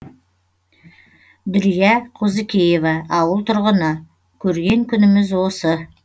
дүрия қозыкеева ауыл тұрғыны көрген күніміз осы